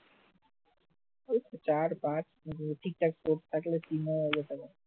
ওইতো চার পাঁচ ঠিকঠাক থাকলে তিন চার হাজার টাকা